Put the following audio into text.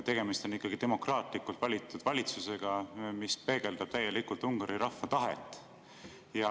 Tegemist on ikkagi demokraatlikult valitud valitsusega, mis peegeldab täielikult Ungari rahva tahet.